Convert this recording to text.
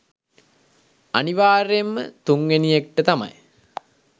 අනිවාර්‍රයෙන්ම තුන්වෙනියෙක්ට තමයි.